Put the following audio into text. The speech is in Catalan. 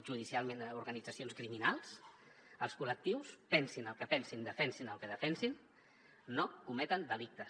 judicialment organitzacions criminals els col·lectius pensin el que pensin defensin el que defensin no cometen delictes